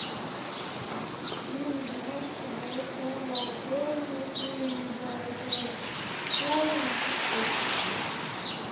фильм где мальчик узнает что он волшебник и езжает в школу учиться волшебству